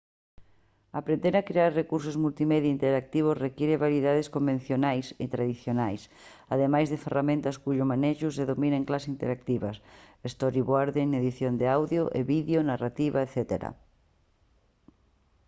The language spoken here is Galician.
aprender a crear recursos multimedia interactivos require habilidades convencionais e tradicionais ademais de ferramentas cuxo manexo se domina en clases interactivas storyboarding edición de audio e vídeo narrativa etc.